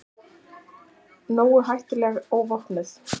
Nógu hættuleg óvopnuð.